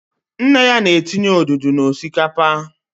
Nne ya na-etinye odudu na osikapa